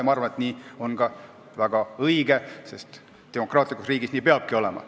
Ja ma arvan, et nii ongi väga õige, sest demokraatlikus riigis nii peabki olema.